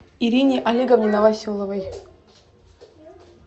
ирине олеговне новоселовой